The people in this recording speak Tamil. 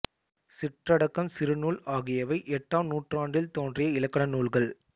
சிற்றட்டகம் சிறுநூல் ஆகியவை எட்டாம் நூற்றாண்டில் தோன்றிய இலக்கண நூல்கள்